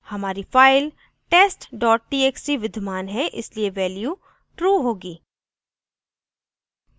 हमारी file test dot txt विद्यमान है इसलिए value true होगी